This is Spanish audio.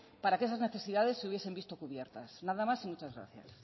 para que esas necesidades se hubiesen visto cubiertas nada más y muchas gracias